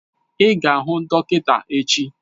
Ị ga-ahụ dọkịta echi!